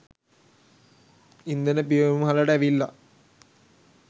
ඉන්ධන පිරවුම්හලට ඇවිල්ලා